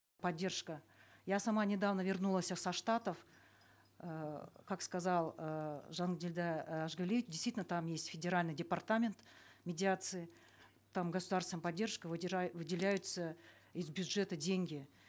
поддержка я сама недавно вернулась со штатов эээ как сказал эээ жандильда э ажгалиевич действительно там есть федеральный департамент медиации там государственная поддержка выделяются из бюджета деньги